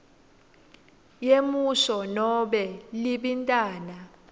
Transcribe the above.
yemusho nobe libintana